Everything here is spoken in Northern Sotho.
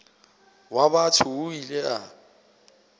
wa batho o ile a